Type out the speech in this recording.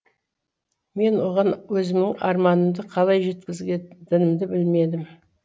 мен оған өзімнің арманымды қалай жеткізетінімді білмедім